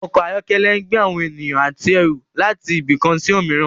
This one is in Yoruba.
Ọkọ̀ ayọ́kẹ́lẹ́ ń gbé àwọn ènìyàn àti ẹrù láti ibì kan sí òmíràn